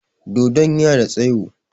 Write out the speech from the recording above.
Dodon yana da tsaƴo.